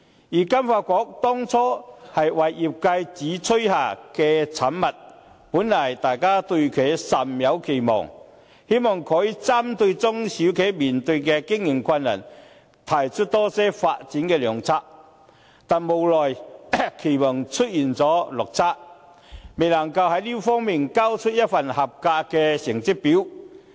而金發局當初為業界主催下的產物，本來大家對其甚有期望，希望可以針對中小企面對的經營困難，提出多些發展的良策，但無奈期望出現了落差，未能在這方面交出一份合格的成績表。